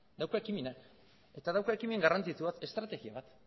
dauka ekimena eta dauka ekimen garrantzitsu bat estrategia bat